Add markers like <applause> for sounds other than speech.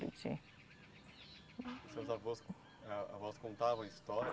<unintelligible> Seus avós con, eh, avós contavam história?